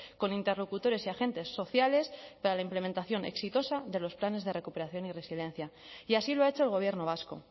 con interlocutores y agentes sociales para la implementación exitosa de los planes de recuperación y resiliencia y así lo ha hecho el gobierno vasco